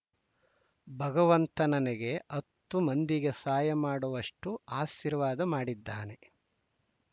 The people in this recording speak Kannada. ಭಗವಂತ ನನಗೆ ಹತ್ತು ಮಂದಿಗೆ ಸಹಾಯ ಮಾಡುವಷ್ಟುಆಶೀರ್ವಾದ ಮಾಡಿದ್ದಾನೆ